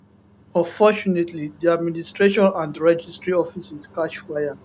unfortunately di administration and registry offices catch fire